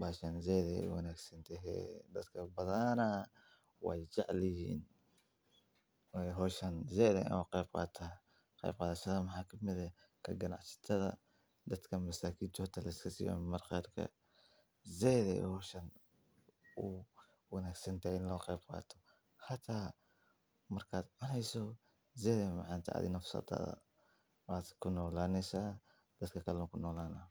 baxaa meelo qaboobey iyo dhul barwaaqo ah.